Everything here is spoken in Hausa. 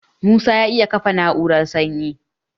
Musa ya iya kafa na'urar sanyi